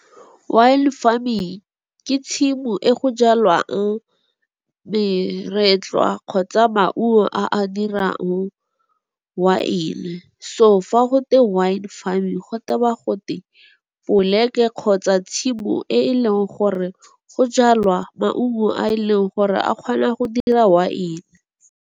Wine farming ke tshimo e go jalwang meretlwa kgotsa maungo a a dirang waene. So fa go twe wine farming go tewa gote poleke kgotsa tshimo e e leng gore go jalwa maungo a e leng gore a kgona go dira waene.